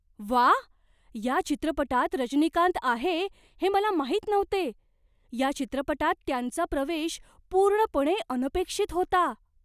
वाह! या चित्रपटात रजनीकांत आहे हे मला माहीत नव्हते. या चित्रपटात त्यांचा प्रवेश पूर्णपणे अनपेक्षित होता.